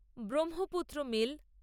Brahmaputra mail